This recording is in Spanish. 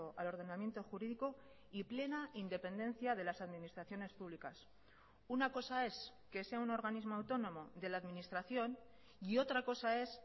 al ordenamiento jurídico y plena independencia de las administraciones públicas una cosa es que sea un organismo autónomo de la administración y otra cosa es